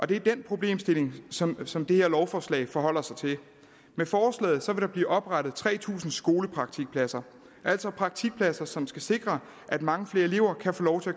det er den problemstilling som som det her lovforslag forholder sig til med forslaget vil der blive oprettet tre tusind skolepraktikpladser altså praktikpladser som skal sikre at mange flere elever kan få lov at